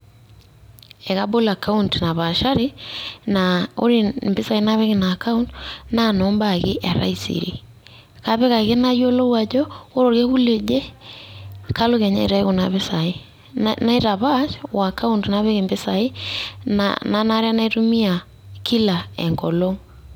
Ekabol ekaont napaashari naa ore impisai napik Ina akaont naa noobaa ake etaisere kapik ake nayiolou ajo ore orkekun oje naa kalotu Kenyaa aitau Kuna pisai naitapaash o kaont napik empisai naanare naitumia kila enkolong'.